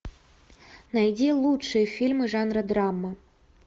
найди лучшие фильмы жанра драма